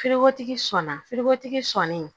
sɔnna sɔnin